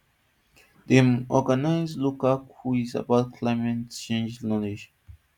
dem organise local quiz about climate change knowledge